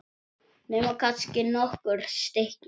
Nema kannski nokkur stykki.